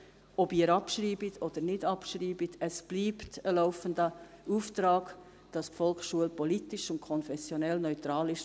Ob Sie abschreiben oder nicht: Es bleibt ein laufender Auftrag, dass die Volksschule politisch und konfessionell neutral ist.